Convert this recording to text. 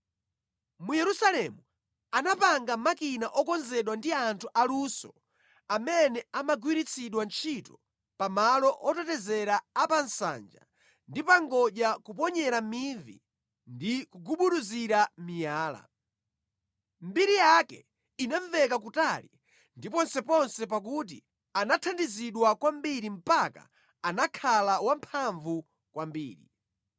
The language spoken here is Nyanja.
Mu Yerusalemu anapanga makina okonzedwa ndi anthu aluso amene amagwiritsidwa ntchito pa malo otetezera a pa nsanja ndi pa ngodya kuponyera mivi ndi kugubuduzira miyala. Mbiri yake inamveka kutali ndi ponseponse pakuti anathandizidwa kwambiri mpaka anakhala wamphamvu kwambiri.